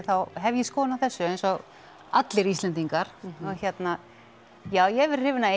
þá hef ég skoðun á þessu eins og allir Íslendingar og hérna já ég hef verið hrifin af